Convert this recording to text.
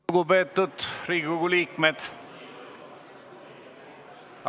Tere hommikust, lugupeetud Riigikogu liikmed!